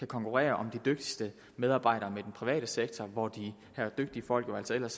konkurrere om de dygtigste medarbejdere med den private sektor hvor de dygtige folk jo ellers